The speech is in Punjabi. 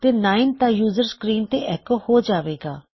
ਤੇ 9 ਤਾਂ ਯੂਜ਼ਰ ਸਕਰੀਨ ਤੇ ਐੱਕੋ ਹੋ ਜਾਵੇਗਾ